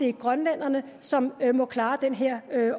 er grønlænderne som må klare den her